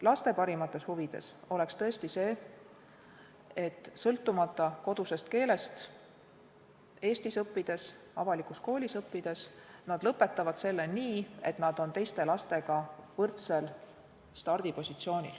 Laste parimates huvides oleks tõesti see, et sõltumata kodusest keelest nad saavad Eesti avalikust koolist võrdse stardipositsiooni.